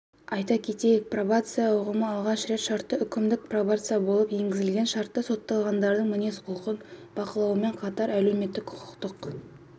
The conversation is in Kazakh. айта кетейік пробация ұғымы алғаш рет шартты-үкімдік пробация болып енгізілген шартты сотталғандардың мінез-құлқын бақылаумен қатар әлеуметтік-құқықтық